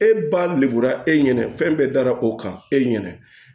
E ba lebura e ɲɛna fɛn bɛɛ da o kan e ɲɛna